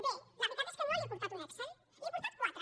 bé la veritat és que no li he portat un excel li n’he portat quatre